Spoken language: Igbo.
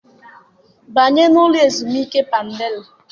Banye n'ụlọ ezumike Padelia!